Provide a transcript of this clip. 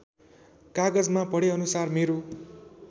कागजमा पढेअनुसार मेरो